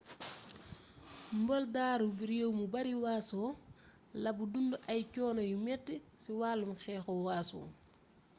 moldawi réew mu bari waaso la bu dundu ay coono yu metti ci walum xeexu waaso